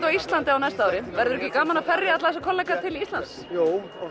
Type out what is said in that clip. á Íslandi á næsta ári verður ekki gaman að ferja alla þessa kollega til Íslands jú